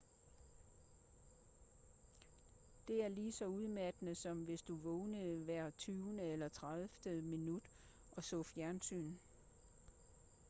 det er lige så udmattende som hvis du vågnede hver tyvende eller tredivte minut og så fjernsyn